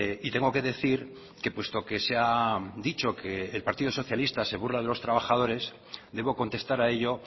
y tengo que decir que puesto que se ha dicho que el partido socialista se burla de los trabajadores debo contestar a ello